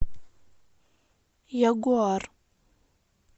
ягуар